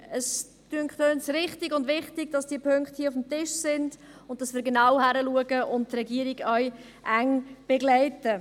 Es scheint uns richtig und wichtig, dass diese Punkte hier auf dem Tisch sind und dass wir genau hinschauen und die Regierung auch eng begleiten.